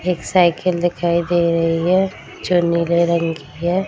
एक साइकिल दिखाई दे रही है जो नीले रंग की है।